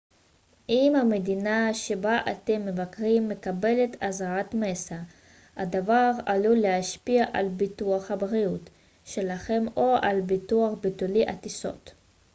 אם המדינה שבה אתם מבקרים מקבלת אזהרת מסע הדבר עלול להשפיע על ביטוח הבריאות שלכם או על ביטוח ביטולי הטיסות